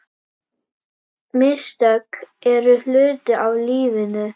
Mistök eru hluti af lífinu.